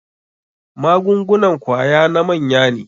Magungunan kwaya na manya ne.